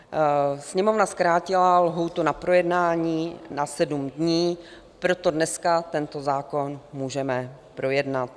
Sněmovna zkrátila lhůtu na projednání na sedm dní, proto dneska tento zákon můžeme projednat.